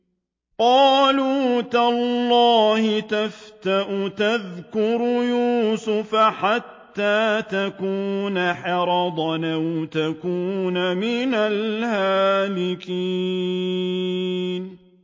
قَالُوا تَاللَّهِ تَفْتَأُ تَذْكُرُ يُوسُفَ حَتَّىٰ تَكُونَ حَرَضًا أَوْ تَكُونَ مِنَ الْهَالِكِينَ